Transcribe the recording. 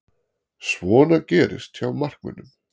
Svona gerist hjá markmönnum.